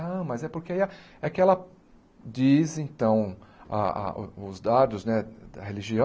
Ah, mas é porque aí a é que ela diz então a a os dados né da